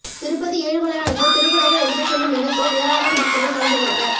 திருப்பதி ஏழுமலையானுக்கு திருக்குடைகள் எடுத்துச்செல்லும் நிகழ்ச்சியில் ஏராளமான பக்தர்கள் கலந்து கொண்டனர்